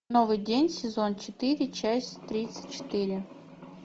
новый день сезон четыре часть тридцать четыре